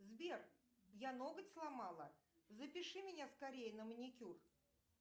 сбер я ноготь сломала запиши меня скорей на маникюр